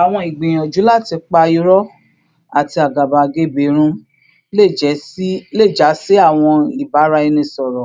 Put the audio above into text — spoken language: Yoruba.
Awọn igbiyanju lati pa irọ ati agabagebe run le ja si awọn ibaraenisọrọ